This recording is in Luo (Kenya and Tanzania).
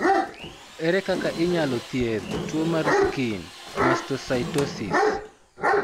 Ere kaka inyalo thiedh tuwo mar skin mastocytosis?